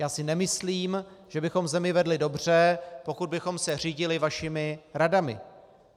Já si nemyslím, že bychom zemi vedli dobře, pokud bychom se řídili vašimi radami.